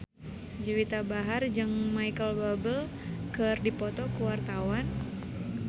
Juwita Bahar jeung Micheal Bubble keur dipoto ku wartawan